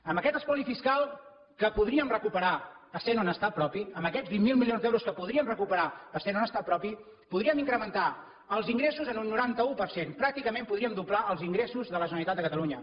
amb aquest espoli fiscal que podríem recuperar essent un estat propi amb aquests vint miler milions d’euros que podríem recuperar essent un estat propi podríem incrementar els ingressos en un noranta un per cent pràcticament podríem doblar els ingressos de la generalitat de catalunya